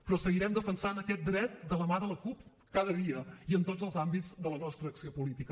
però seguirem defensant aquest dret de la mà de la cup cada dia i en tots els àmbits de la nostra acció política